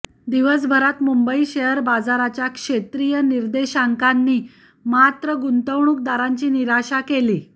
दिवसभरात मुंबई शेअर बाजाराच्या क्षेत्रीय निर्देशांकांनी मात्र गुंतवणूकदारांची निराशा केली